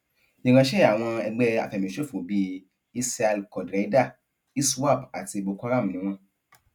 ìránṣẹ àwọn ẹgbẹ àfẹmíṣòfò bíi isial quadraeda iswap àti bokoharam ni wọn